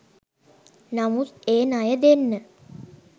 නමුත් ඒ ණය දෙන්න